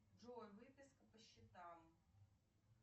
джой выписка по счетам